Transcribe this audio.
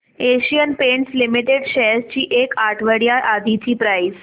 Asian Paints limited shares ची एक आठवड्या आधीची प्राइस